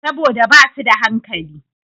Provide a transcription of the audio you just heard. Saboda ba su da hankali.